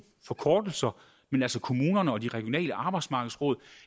forkortelser altså kommunerne og de regionale arbejdsmarkedsråd